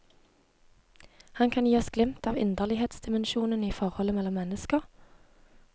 Han kan gi oss glimt av inderlighetsdimensjonen i forholdet mellom mennesker.